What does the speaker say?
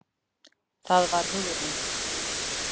Það var Hugrún!